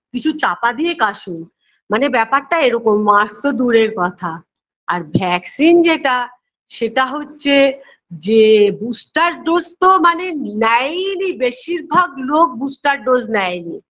কিছু চাপা দিয়ে কাশুন মানে ব্যপারটা এরকম mask -তো দূরের কথা আর vaccine যেটা সেটা হচ্ছে যে booster dose -তো মানে নেয়ইনি বেশিরভাগ লোক booster dose নেয়নি